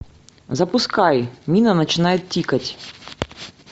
запускай мина начинает тикать